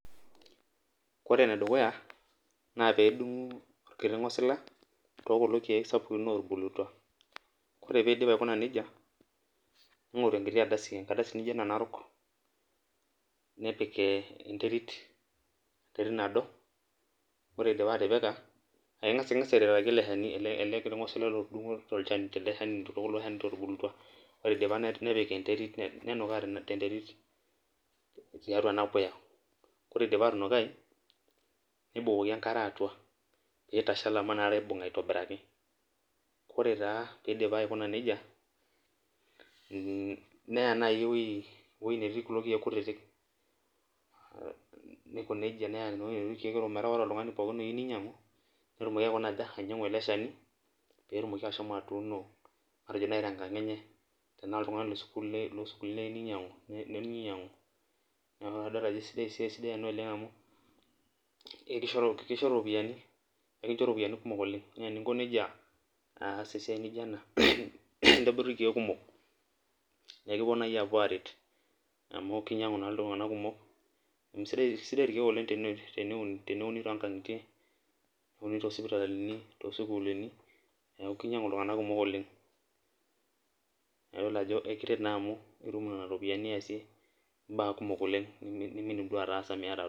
Ore enedukuya na pedungu orkiti ngosila tekuna natubulutua ore pidip aikuna nejia ningoribenkitibardasi narok nepik enterit nado ore idipa atipika nepik enterit nenukaa tenterut teatua enapuya nibukoki enkare atua metashala amu nakata ibunga aitobiraki ore pidip akina nejia neya nkulie woi neiko nejia metaa ore pooki tomgani oyieu ninyangu netumoki ashomo atuuno eleshani matwjo twmkang enye na idol ajo esidai ena amu kisho ropiyani kumok oleng na eninko nejia aas esiai nijo ina nikincho irkiek kumok na ekipuo arwt amu kinyangu ltunganak kumok amu kesidan irkiek neaku kinyangu ltunganak kumok oleng na ekiret amu ekincho ropiyani kumok oleng nimindim duo aatasa meti